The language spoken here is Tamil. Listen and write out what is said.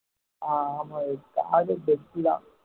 ஆஹ் ஆமா தான்